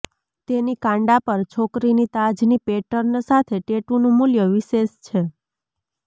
તેની કાંડા પર છોકરીની તાજની પેટર્ન સાથે ટેટૂનું મૂલ્ય વિશેષ છે